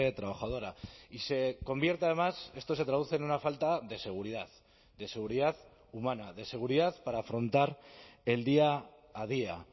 trabajadora y se convierte además esto se traduce en una falta de seguridad de seguridad humana de seguridad para afrontar el día a día